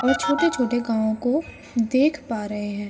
और छोटे-छोटे गावों को देख पा रहे हैं।